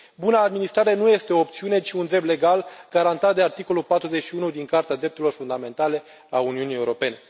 Buna administrare nu este o opțiune, ci un drept legal, garantat de articolul 41 din Carta drepturilor fundamentale a Uniunii Europene.